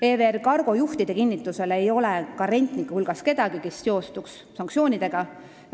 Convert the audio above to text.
EVR Cargo juhtide kinnitusel ei ole rentnike hulgas kedagi, kes seostuks sanktsioonidega.